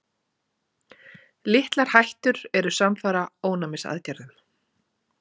Litlar hættur eru samfara ónæmisaðgerðum.